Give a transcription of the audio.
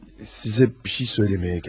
Sizə bir şey söyləməyə gəldim.